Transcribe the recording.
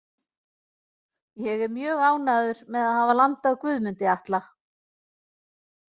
Ég er mjög ánægður með að hafa landað Guðmundi Atla.